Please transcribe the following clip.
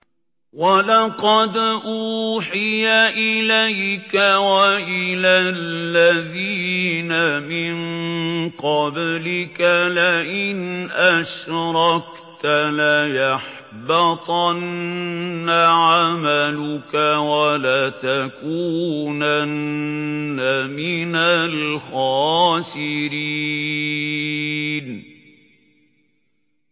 وَلَقَدْ أُوحِيَ إِلَيْكَ وَإِلَى الَّذِينَ مِن قَبْلِكَ لَئِنْ أَشْرَكْتَ لَيَحْبَطَنَّ عَمَلُكَ وَلَتَكُونَنَّ مِنَ الْخَاسِرِينَ